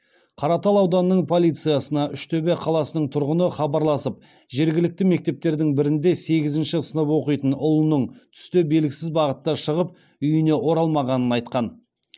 қаратал ауданының полициясына үштөбе қаласының тұрғыны хабарласып жергілікті мектептердің бірінде сегізінші сынып оқитын ұлының түсте белгісіз бағытта шығып үйіне оралмағанын айтқан